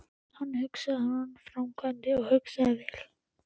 Hann hugsaði áður en hann framkvæmdi og hugsaði vel.